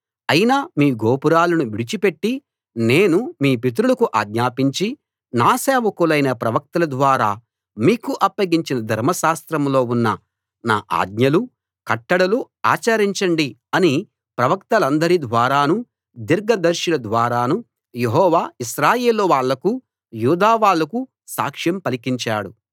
అయినా మీ గోపురాలను విడిచిపెట్టి నేను మీ పితరులకు ఆజ్ఞాపించి నా సేవకులైన ప్రవక్తల ద్వారా మీకు అప్పగించిన ధర్మశాస్త్రంలో ఉన్న నా ఆజ్ఞలు కట్టడలు ఆచరించండి అని ప్రవక్తలందరి ద్వారానూ దీర్ఘదర్శుల ద్వారానూ యెహోవా ఇశ్రాయేలు వాళ్ళకూ యూదా వాళ్ళకూ సాక్ష్యం పలికించాడు